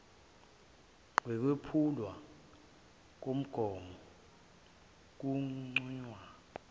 ngokwephulwa komgomo kunconywa